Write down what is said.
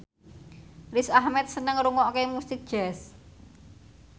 Riz Ahmed seneng ngrungokne musik jazz